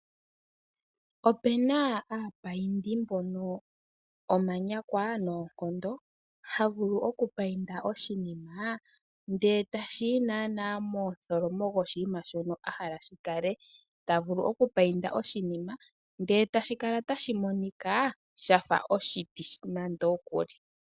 Opu na aapaindi mbono omanyakwa noonkondo , haya vulu okupainda oshinima ndele etashi yi naanaa momutholomo goshinima shoka ahala gukale. Otavulu okupainda oshinima ndele kala tashi monika sha fa oshiti.